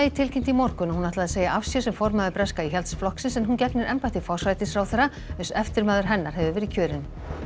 tilkynnti í morgun að hún ætlaði að segja af sér sem formaður breska Íhaldsflokksins en hún gegnir embætti forsætisráðherra uns eftirmaður hennar hefur verið kjörinn